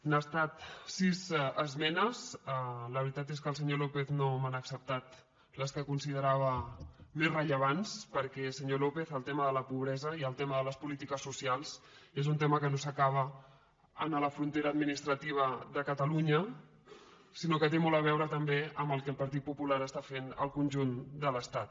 han estat sis esmenes la veritat és que el senyor lópez no m’ha acceptat les que considerava més rellevants perquè senyor lópez el tema de la pobresa i el tema de les polítiques socials és un tema que no s’acaba en la frontera administrativa de catalunya sinó que té molt a veure també amb el que el partit popular està fent al conjunt de l’estat